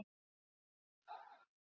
Þetta getur ekki verið rétt.